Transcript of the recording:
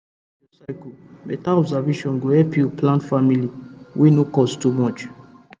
to dey record your cyle better observation go help you plan family wey no cost too much